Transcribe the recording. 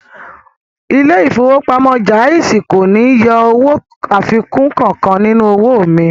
Ilé ìfowópamọ́ Jaiz kò ní yọ owó àfikún kankan nínú owó mi